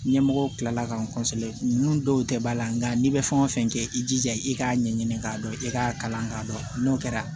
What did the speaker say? Ɲɛmɔgɔw tilala k'an ninnu dɔw tɛ ba la nka n'i bɛ fɛn o fɛn kɛ i jija i k'a ɲɛɲini k'a dɔn i k'a kalan k'a dɔn n'o kɛra